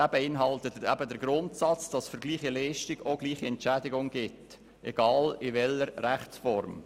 Dieser beinhaltet den Grundsatz, wonach gleiche Leistung auch gleich entschädigt wird, egal in welcher Rechtsform.